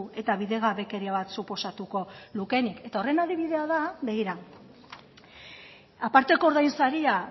eta bidegabekeria bat suposatuko lukeenik eta horren adibidea da begira aparteko ordainsaria